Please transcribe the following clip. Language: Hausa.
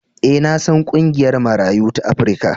E, na san ƙungiyar Marayu ta Afrika.